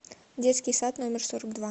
детский сад номер сорок два